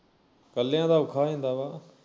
ਕੱਲਿਆਂ ਦਾ ਔਖਾ ਹੋ ਜਾਂਦਾ ਵਾ